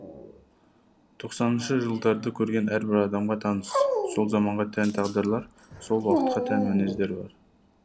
тоқсаныншы жылдарды көрген әрбір адамға таныс сол заманға тән тағдырлар сол уақытқа тән мінездер бар